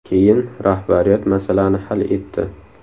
Keyin rahbariyat masalani hal etdi.